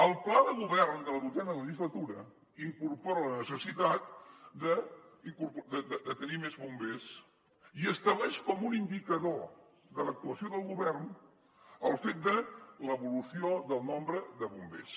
el pla de govern de la dotzena legislatura incorpora la necessitat de tenir més bombers i estableix com un indicador de l’actuació del govern el fet de l’evolució del nombre de bombers